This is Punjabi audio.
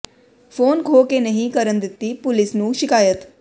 ਫੋਨ ਖੋਹ ਕੇ ਨਹੀਂ ਕਰਨ ਦਿੱਤੀ ਪੁਲਿਸ ਨੂੰ ਸ਼ਿਕਾਇਤ